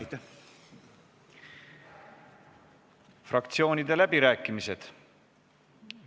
Avan fraktsioonide läbirääkimised.